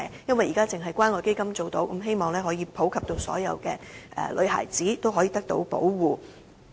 現時只有關愛基金提供有關服務，我希望能夠普及讓所有女孩子均受到保護。